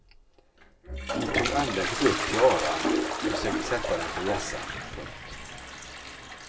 Hon tog andäktigt upp tiaran och försökte sätta den på hjässan. punkt